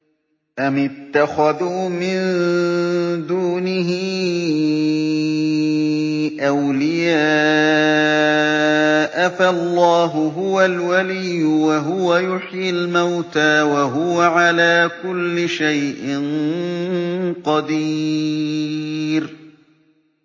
أَمِ اتَّخَذُوا مِن دُونِهِ أَوْلِيَاءَ ۖ فَاللَّهُ هُوَ الْوَلِيُّ وَهُوَ يُحْيِي الْمَوْتَىٰ وَهُوَ عَلَىٰ كُلِّ شَيْءٍ قَدِيرٌ